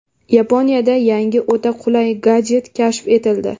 Yaponiyada yangi, o‘ta qulay gadjet kashf etildi.